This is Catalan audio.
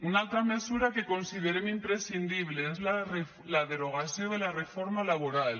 una altra mesura que considerem imprescindible és la derogació de la reforma laboral